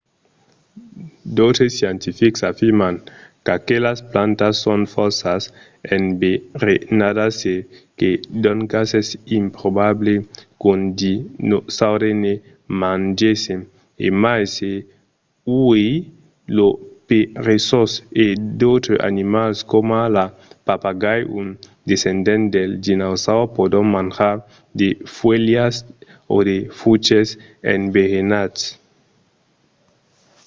d'autres scientifics afirman qu'aquelas plantas son fòrça enverenadas e que doncas es improbable qu'un dinosaure ne mangèsse e mai se uèi lo peresós e d'autres animals coma lo papagai un descendent del dinosaures pòdon manjar de fuèlhas o de fruches enverenats